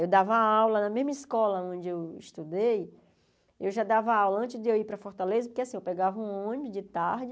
Eu dava aula na mesma escola onde eu estudei, eu já dava aula antes de eu ir para Fortaleza, porque assim, eu pegava um ônibus de tarde,